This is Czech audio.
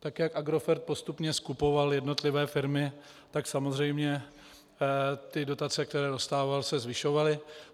Tak jak Agrofert postupně skupoval jednotlivé firmy, tak samozřejmě ty dotace, které dostával, se zvyšovaly.